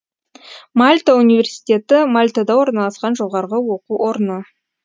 мальта университеті мальтада орналасқан жоғарғы оқу орны